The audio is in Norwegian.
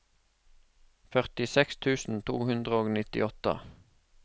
førtiseks tusen to hundre og nittiåtte